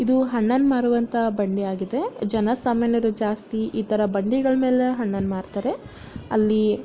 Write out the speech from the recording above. ಇದು ಹಣ್ಣನ ಮಾರುವಂತ ಬಂಡಿಯಾಗಿದೆ ಜನಸಾಮಾನ್ಯರು ಜಾಸ್ತಿ ಇತರ ಬಂಡಿಗಳ ಮೇಲೆ ಹಣ್ಣನ ಮಾರ್ತಾರೆ ಅಲ್ಲಿ --